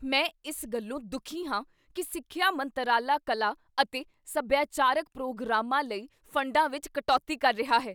ਮੈਂ ਇਸ ਗੱਲੋਂ ਦੁਖੀ ਹਾਂ ਕੀ ਸਿੱਖਿਆ ਮੰਤਰਾਲਾ ਕਲਾ ਅਤੇ ਸਭਿਆਚਾਰਕ ਪ੍ਰੋਗਰਾਮਾਂ ਲਈ ਫੰਡਾਂ ਵਿੱਚ ਕਟੌਤੀ ਕਰ ਰਿਹਾ ਹੈ।